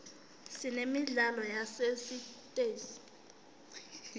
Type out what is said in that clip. sinemidlalo yasesitesi